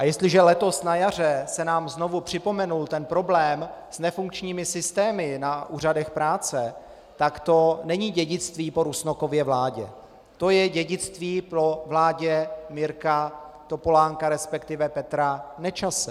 A jestliže letos na jaře se nám znovu připomenul ten problém s nefunkčními systémy na úřadech práce, tak to není dědictví po Rusnokově vládě, to je dědictví po vládě Mirka Topolánka, respektive Petra Nečase.